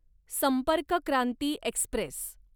संपर्क क्रांती एक्स्प्रेस